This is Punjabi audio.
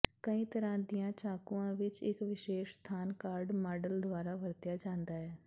ਕਈ ਤਰ੍ਹਾਂ ਦੀਆਂ ਚਾਕੂਆਂ ਵਿਚ ਇਕ ਵਿਸ਼ੇਸ਼ ਸਥਾਨ ਕਾੱਰਡ ਮਾਡਲ ਦੁਆਰਾ ਵਰਤਿਆ ਜਾਂਦਾ ਹੈ